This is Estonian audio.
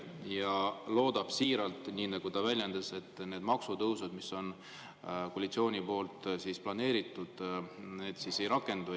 Ja ta loodab siiralt, nii nagu ta väljendas, et need maksutõusud, mis on koalitsioonil planeeritud, ei rakendu.